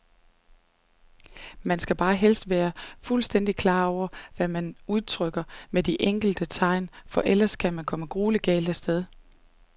Man skal bare helst være fuldstændigt klar over, hvad man udtrykker med de enkelte tegn, for ellers kan man komme grueligt galt af sted.